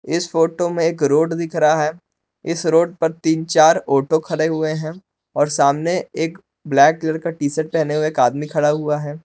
इस फोटो में एक रोड दिख रहा है इस रोड पर तीन चार ऑटो खड़े हुए हैं और सामने एक ब्लैक कलर टीशर्ट पहने हुए एक आदमी खड़ा हुआ है।